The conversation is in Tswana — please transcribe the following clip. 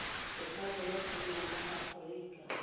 botshabelo go nna mo aforika